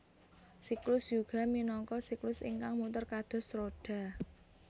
Siklus Yuga minangka siklus ingkang muter kados roda